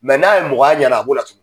n'a ye mɔgɔ y'a ɲɛna a b'o latunu.